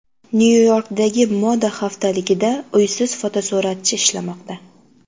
Nyu-Yorkdagi moda haftaligida uysiz fotosuratchi ishlamoqda.